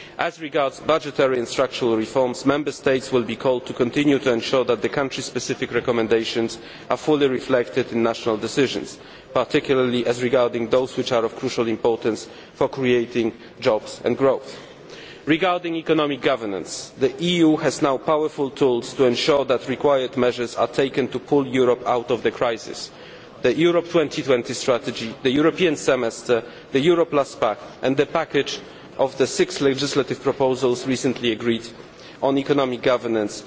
As regards budgetary and structural reforms, Member States will be called to continue to ensure that the country specific recommendations are fully reflected in national decisions, particularly as regards those which are of crucial importance for creating jobs and growth. Regarding economic governance, the EU now has powerful tools to ensure that the measures required are taken to pull Europe out of the crisis the Europe 2020 Strategy, the European Semester, the Euro Plus Pact, and the package of the six legislative proposals recently agreed on economic governance.